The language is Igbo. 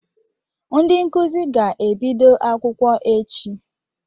Ndị nkuzi ga-ebido akwụkwọ echi.